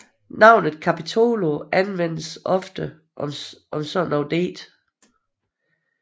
Navnet capitolo anvendtes ofte om sådanne digte